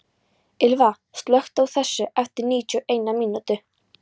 Ylva, slökktu á þessu eftir níutíu og eina mínútur.